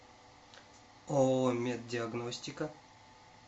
ооо меддиагностика